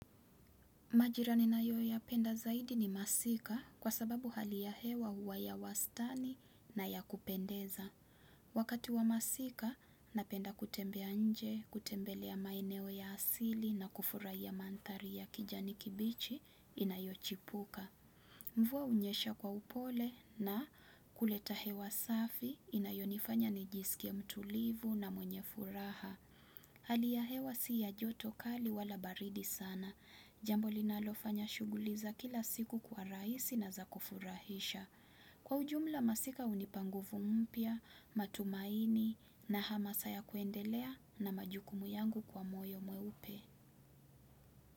Majira ninayo yapenda zaidi ni masika kwa sababu hali ya hewa huwa ya wastani na ya kupendeza. Wakati wa masika, napenda kutembea nje, kutembelea maeneo ya asili na kufurahia manthari ya kijani kibichi inayochipuka. Mvua hunyesha kwa upole na kuleta hewa safi inayonifanya nijisikie mtulivu na mwenye furaha. Hali ya hewa si ya joto kali wala baridi sana. Jambo linalofanya shughuli za kila siku kuwa rahisi na za kufurahisha. Kwa ujumla masika hunipa nguvu mpya matumaini na hamasa ya kuendelea na majukumu yangu kwa moyo mweupe.